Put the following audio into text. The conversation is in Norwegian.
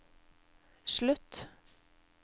slutt